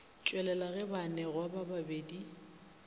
tšwelela ge baanegwa ba babedi